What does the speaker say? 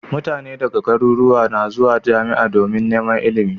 Mutane daga garuruwa na zuwa jamia domin Neman ilimi